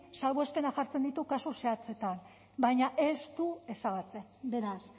salbuespenak jartzen ditu kasu zehatzetan baina ez du ezabatzen beraz